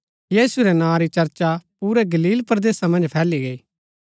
यीशु रै नां री चर्चा पुरै गलील परदेसा मन्ज फैली गई